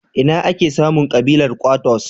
Ina ake samun ƙabilar Kwattos?